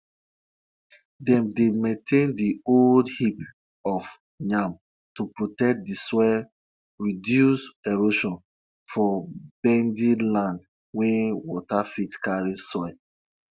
dem dey arrange dry cassava inside sack base on di one dem go use for house and di one dem go sell